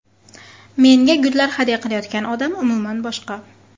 Menga gullar hadya qilayotgan odam umuman boshqa.